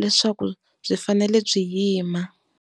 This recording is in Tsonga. leswaku byi fanele byi yima.